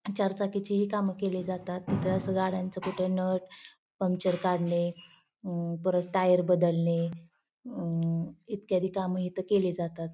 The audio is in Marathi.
चार चाकी ची ही काम केली जातात तिथं अस जसं गाड्यांच कुठे नट पंक्चर काढणे परत टायर बदलणे अं इत्यादि काम इथ केली जातात.